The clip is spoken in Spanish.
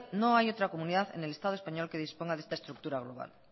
no hay otra comunidad en el estado español que disponga de esta estructura global